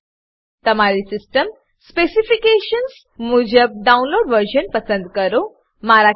તમારી system specifications system specification મુજબ download version download આવૃત્તિ પસંદ કરો